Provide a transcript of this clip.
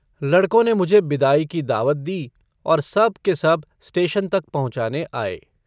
लड़कों ने मुझे बिदाई की दावत दी और सब के सब स्टेशन तक पहुँचाने आए।